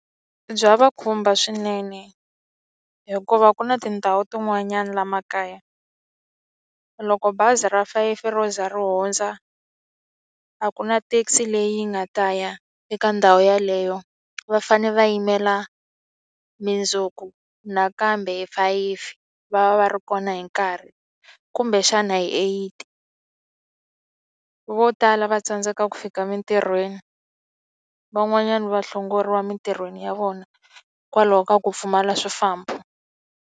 Bya va khumba swinene hikuva ku na tindhawu tin'wanyana laha makaya, loko bazi ra fayifi ro ze ri hundza, a ku na thekisi leyi nga ta ya eka ndhawu yeleyo. Va fanele va yimela mundzuku nakambe hi fayifi va va va ri kona hi nkarhi, kumbexana hi eight. Vo tala va tsandzeka ku fika emitirhweni, van'wanyana va hlongoliwa emitirhweni ya vona hikwalaho ka ku pfumala swifambo.